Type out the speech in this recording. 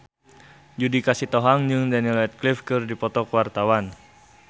Judika Sitohang jeung Daniel Radcliffe keur dipoto ku wartawan